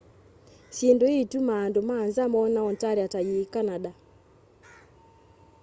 syindu ĩi itumaa andũ ma nza mona ontaria ta yi canada